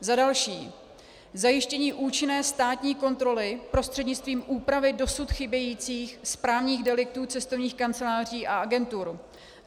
Za další zajištění účinné státní kontroly prostřednictvím úpravy dosud chybějících správních deliktů cestovních kanceláří a agentur.